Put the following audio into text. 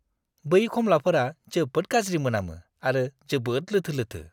बै खमलाफोरा जोबोद गाज्रि मोनामो आरो जोबोद लोथो लोथो।